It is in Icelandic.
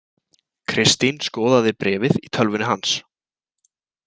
Kristín skoðaði bréfið í tölvunni hans.